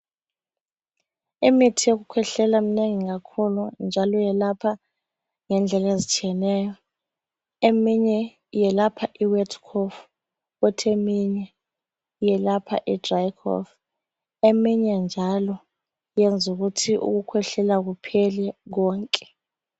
Imithi yokukhwehlela minengi kakhulu njalo yelapha ngendlela ezitshiyeneyo, eminye iyelapha imayildi khofu eminye njalo iyelapha idrayi khofu, eminye njalo iyenza ukuthi ukukhwehlela kuphele konke.